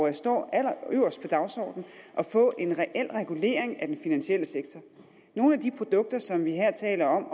det står allerøverst på dagsordenen at få en reel regulering af den finansielle sektor nogle af de produkter som vi her taler om